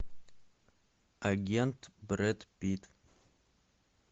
агент брэд питт